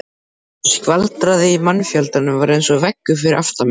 Skvaldrið í mannfjöldanum var eins og veggur fyrir aftan mig.